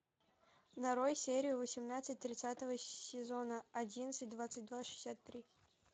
нарой серию восемнадцать тридцатого сезона одиннадцать двадцать два шестьдесят три